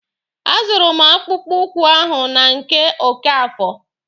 A zụrụ m akpụkpụ ụkwụ ahụ na nke Okafor.